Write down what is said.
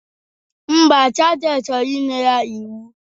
Ḿbà, sajenti chọrọ inye ya iwu.